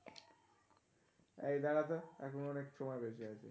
এ দাঁড়া তো, এখনো অনেক সময় বেশি আছে.